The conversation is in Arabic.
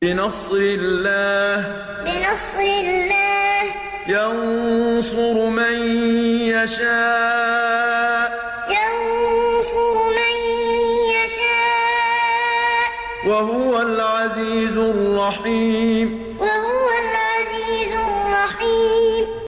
بِنَصْرِ اللَّهِ ۚ يَنصُرُ مَن يَشَاءُ ۖ وَهُوَ الْعَزِيزُ الرَّحِيمُ بِنَصْرِ اللَّهِ ۚ يَنصُرُ مَن يَشَاءُ ۖ وَهُوَ الْعَزِيزُ الرَّحِيمُ